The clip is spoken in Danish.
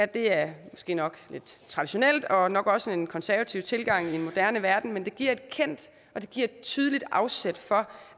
det er måske nok lidt traditionelt og nok også en konservativ tilgang i en moderne verden men det giver et kendt og tydeligt afsæt for